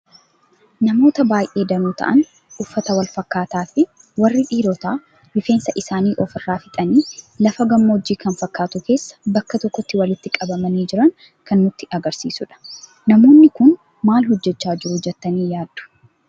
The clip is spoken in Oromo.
Namoota baay'ee danuu ta'aan uffata wal fakkataa fi warri dhiiroota rifeensa isaanii of irraa fixaani lafa gammoojji kan fakkatu keessa bakka tokkotti walitti qabamani jiran kan nutti agarsiisuudha. Namoonni kun maal hojjecha jiru jettani yaaddu?